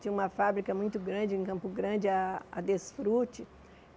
Tinha uma fábrica muito grande, em Campo Grande, a a Desfrute.